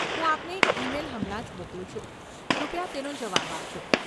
હું આપને એક ઈ મેઈલ હમણાં જ મોકલું છું. કૃપયા તેનો જવાબ આપજો.